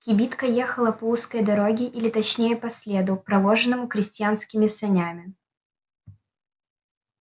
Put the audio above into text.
кибитка ехала по узкой дороге или точнее по следу проложенному крестьянскими санями